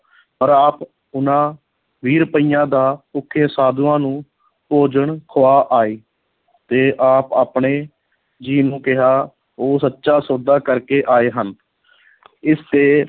ਪਰ ਆਪ ਉਹਨਾਂ ਵੀਹ ਰੁਪਇਆਂ ਦਾ ਭੁੱਖੇ ਸਾਧੂਆਂ ਨੂੰ ਭੋਜਨ ਖੁਆ ਆਏ ਤੇ ਆਪ ਆਪਣੇ ਜੀ ਨੂੰ ਕਿਹਾ ਉਹ ਸੱਚਾ ਸੌਦਾ ਕਰਕੇ ਆਏ ਹਨ ਇਸ ਤੇ